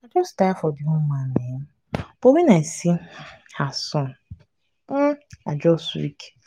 i just tire for the woman um but when i see um her son um i just weak.